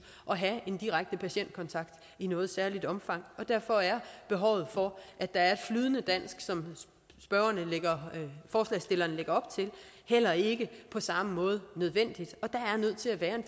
at have en direkte patientkontakt i noget særligt omfang derfor er behovet for at der er et flydende dansk som forslagsstillerne lægger op til heller ikke på samme måde nødvendigt der er nødt til at være